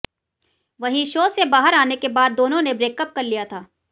वहीं शो से बाहर आने के बाद दोनों ने ब्रेकअप कर लिया था